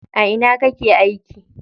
A ina kake aiki?